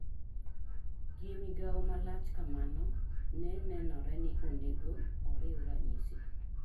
Gi migawo malach kamano, ne nenore ni onego oriw ranyisi